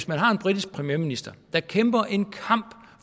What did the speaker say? man har en britisk premierminister der kæmper en kamp